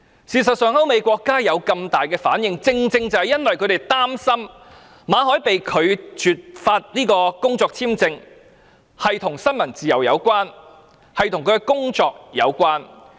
事實上，歐美國家有這麼大的反應，正是因為他們擔心馬凱被拒發工作簽證與新聞自由有關，與他的工作有關。